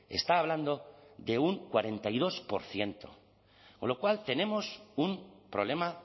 está hablando de un cuarenta y dos por ciento con lo cual tenemos un problema